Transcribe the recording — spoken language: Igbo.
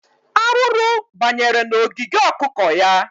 Arụrụ banyere n'ogige okụkọ ya.